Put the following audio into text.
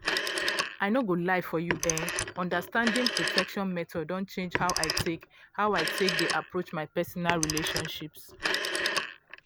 i no go lie for you eh understanding protection methods don change how i take how i take dey approach my personal relationships.